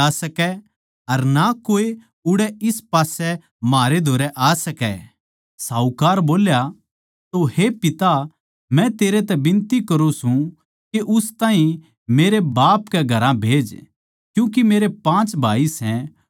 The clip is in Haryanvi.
इन सबके अलावा म्हारै अर तेरे बिचाळै एक बड़ी खाई ठहराई गई सै के जो उरै तै तेरी ओड़ आणा चाहवै वे ना जा सकै अर ना कोए उड़ै इस पास्सै म्हारै धोरै आ सकै